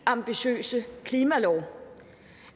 ambitiøse klimalov